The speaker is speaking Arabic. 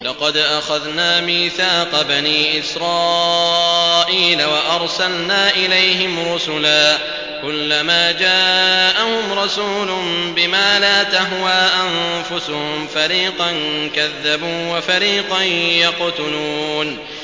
لَقَدْ أَخَذْنَا مِيثَاقَ بَنِي إِسْرَائِيلَ وَأَرْسَلْنَا إِلَيْهِمْ رُسُلًا ۖ كُلَّمَا جَاءَهُمْ رَسُولٌ بِمَا لَا تَهْوَىٰ أَنفُسُهُمْ فَرِيقًا كَذَّبُوا وَفَرِيقًا يَقْتُلُونَ